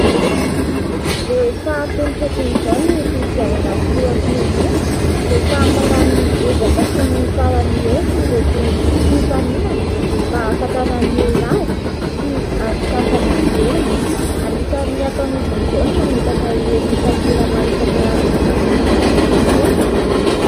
Rehefa atomotra toy izao ny fifidianana filoham-pirenena dia samy manao ny ezaka sy ny farany herinandro ireto mpifanina mba ahafantaran'ny olona azy sy andokafany ny tenany. Anisan'ny ataon'izy ireo ny mametaka ireny takela maro isankarazany eny amoron-dàlana ireny.